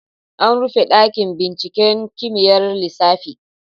An rufe dakin binciken kimiyyar lissafi.